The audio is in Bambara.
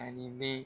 Ani be